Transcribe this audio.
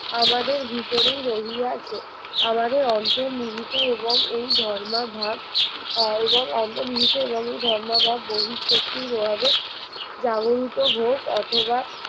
আমাদের ভিতরেই রহিয়াছে আমাদের অন্তর্নিহিত এবং এই ধর্মাভাব অ এবং অন্তর্নিহিত এবং এই ধর্মাভাব বহি শক্তির প্রভাবে জাগরিত হোক অথবা